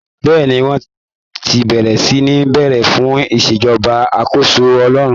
Bẹ́ẹ̀ni, wọ́n ti bẹ̀rẹ̀ sí ní béèrè fún ìṣèjọba àkóso Ọlọ́run